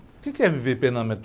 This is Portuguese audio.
O quê que é viver plenamente?